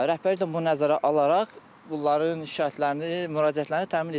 Rəhbərlik də bunu nəzərə alaraq bunların şikayətlərini, müraciətlərini təmin edildi.